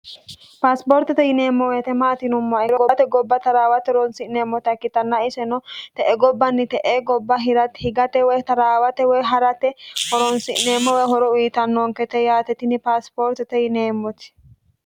Pasiporitte yinnemo woyite maati yinumoha ikkiro gobbatte gobba tarawatte horonisinemotta ikkitana iseno te'e gobbanni te'ee gobba hirate higatte woyi tarawatte woyi harratte horonisirenemo horo uyitanonokette yaate tini pasiporitte yinnemoti